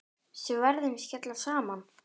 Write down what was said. Sverðin skella saman.